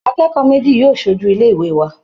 Akẹ́kọ̀ọ́ méjì yóò ṣojú ilé ìwé wa